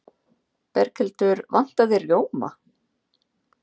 Berghildur: Vantar þig rjóma?